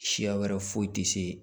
Siya wɛrɛ foyi tɛ se